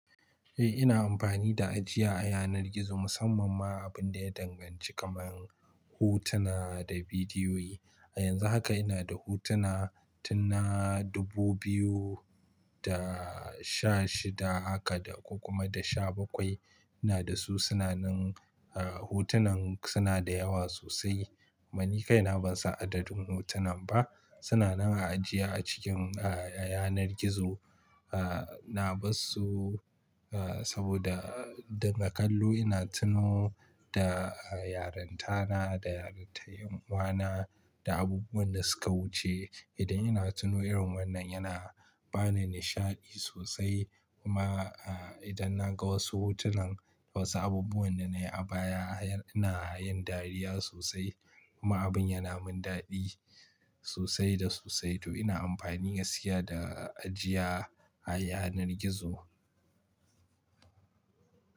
Eh ina amfani da ajiya a yanar gizo musamman ma abun da ya danganci kamar hotuna da bidiyoyi. A yanzu haka ina da hotuna tunna 2016 haka da kuma da 17. Ina da su, suna nan ah, hotunan suna da yawa sosai. Mani kaina ban san adadin hotunan ba. Suna nan a ajiya a cikin, ah, yanar gizo, ah, na bassu, ah, saboda dinga kallo ina tuno da, ah, yarintana da yarintar yan uwana da abubuwan da suka wuce. Idan ina tuno irin wannan yana bani nishaɗi sosai kuma, ah, idan na ga wasu hotunan wasu abubuwan da na yi a baya, ina yin dariya sosai kuma abun yana min daɗi sosai da sosai. To ina amfani gaskiya da ajiya a yanar gizo.